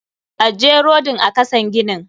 Ajje rodin a kasan ginin.